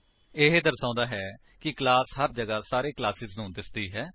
ਇਹ ਦਰਸਾਉਂਦਾ ਹੈ ਕਿ ਕਲਾਸ ਹਰ ਜਗ੍ਹਾ ਸਾਰੇ ਕਲਾਸੇਸ ਨੂ ਦਿਸਦੀ ਹੈ